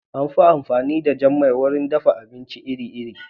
Yayin da jan man ya fi amfani da shi wajen dafa miya iri-iri